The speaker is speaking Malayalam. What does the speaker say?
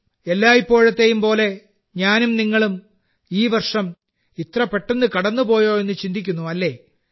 എല്ലായ്പോഴത്തെയും പോലെ ഞാനും നിങ്ങളും ഈ വർഷം ഇത്ര പെട്ടെന്ന് കടന്നുപോയോ എന്ന് ചിന്തിക്കുന്നു അല്ലേ